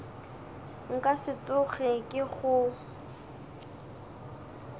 nka se tsoge ke go